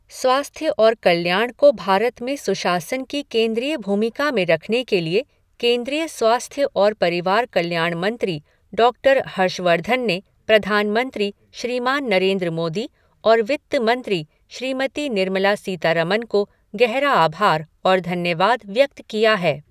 स्वास्थ्य और कल्याण को भारत में सुशासन की केंद्रीय भूमिका में रखने के लिए केंद्रीय स्वास्थ्य और परिवार कल्याण मंत्री, डॉक्टर हर्षवर्धन ने प्रधानमंत्री, श्रीमान नरेन्द्र मोदी और वित्त मंत्री श्रीमती निर्मला सीतारमन को गहरा आभार और धन्यवाद व्यक्त किया है।